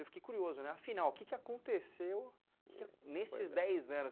Eu fiquei curioso, né, afinal, o que aconteceu nesses dez anos?